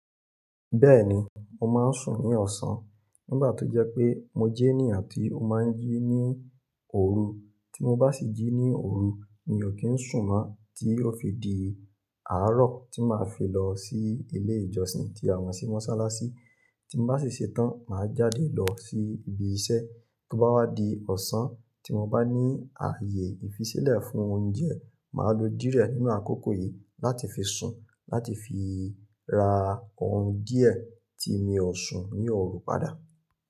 Bẹ́ẹ̀ni, mo máa ń sùn ní ọ̀sán nígbà tó jẹ́ pé mo jẹ́ ènìyàn tí ó máa ń jí ní òru. Tí mo bá sì jí ní òru, mi ò kí ń sùn mọ́, tí ó fi di àárọ̀ tí màá fi lọ sí ilé ìjọsìn tí àmọ sí mọ́sálásí. Tí mo bá sì ṣetán, màá jáde lọ sí ibi iṣẹ́. Tí ó bá wá di ọ̀sán tí mo bá ní ààyè ìfisílẹ̀ fún oúnjẹ, màá lo díẹ̀ nínú àkókò yìí láti fi sùn láti fi ra oorun díẹ̀ tí mi ò sun ní òru padà.